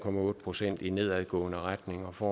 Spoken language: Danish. procent i nedadgående retning for